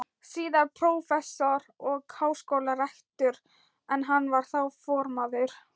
síðar prófessor og háskólarektor, en hann var þá formaður